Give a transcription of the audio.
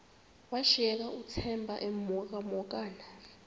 washiyeka uthemba emhokamhokana